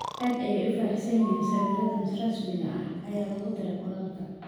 Aad ayay ugu faraxsan yihiin sawiradan rasmiga ah, ayaa lagu daray qoraalka.